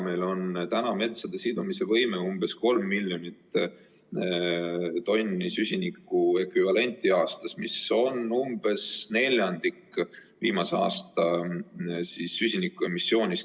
Meie metsa sidumisvõime on umbes 3 miljonit tonni süsiniku ekvivalenti aastas, mis on neljandik viimase aasta süsinikuemissioonist.